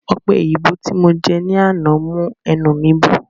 Ọpẹ òyìnbó tí mo jẹ ní àná mú ẹnu mi bó